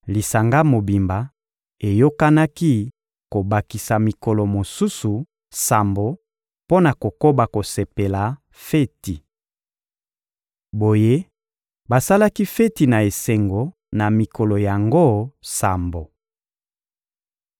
Lisanga mobimba eyokanaki kobakisa mikolo mosusu sambo mpo na kokoba kosepela feti. Boye, basalaki feti na esengo na mikolo yango sambo.